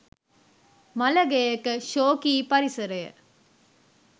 මළගෙයක ශෝකී පරිසරය